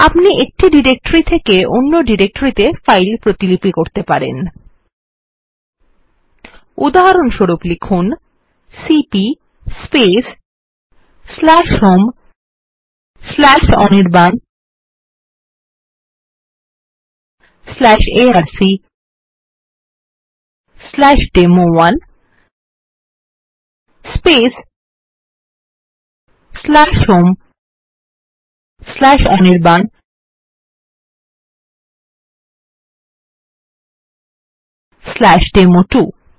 আপনি এক ডিরেকটরি থেকে অন্য ডিরেকটরিত়ে ফাইল কপি করতে পারেন উদাহরণস্বরূপ লিখুন সিপি homeanirbanarcডেমো1 homeanirbanডেমো2